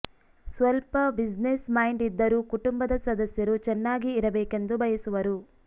ಸ್ವಲ್ಪ business mind ಇದ್ದರೂ ಕುಟುಂಬದ ಸದಸ್ಯರು ಚೆನ್ನಾಗಿ ಇರಬೇಕೆಂದು ಬಯಸುವರು